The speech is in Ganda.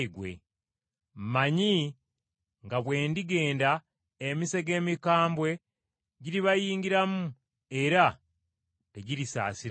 Mmanyi nga bwe ndigenda, emisege emikambwe giribayingiramu, era tegirisaasira kisibo.